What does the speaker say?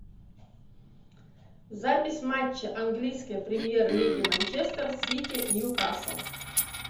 запись матча английской премьер лиги манчестер сити ньюкасл